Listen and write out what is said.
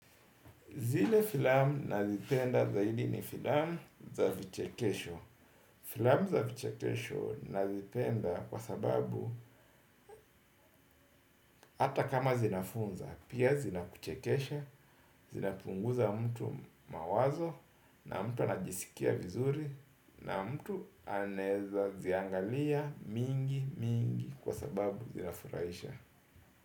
Zile filamu nazipenda zaidi ni filamu za vichekesho. Filamu za vichekesho nazipenda kwa sababu ata kama zinafunza, pia zinakuchekesha, zinapunguza mtu mawazo na mtu anajisikia vizuri na mtu anaeza ziangalia mingi mingi kwa sababu zinafuraisha.